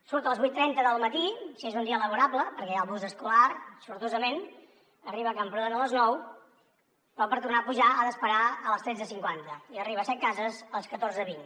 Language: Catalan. surt a les vuit cents i trenta del matí si és un dia laborable perquè hi ha el bus escolar sortosament arriba a camprodon a les nou però per tornar a pujar ha d’esperar a les tretze cinquanta i arriba a setcases a les catorze vint